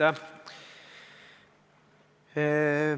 Aitäh!